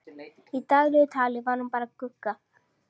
Í daglegu tali var hún bara Gugga.